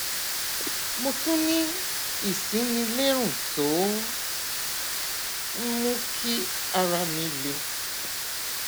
mo tún ní ìsínilérùn tó ń mú kí ara mi le